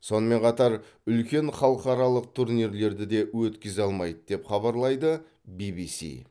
сонымен қатар үлкен халықаралық турнирлерді де өткізе алмайды деп хабарлайды ввс